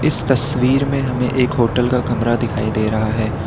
इस तस्वीर में हमें एक होटल का कमरा दिखाई दे रहा है।